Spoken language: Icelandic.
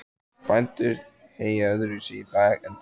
Bændur heyja öðruvísi í dag en þá.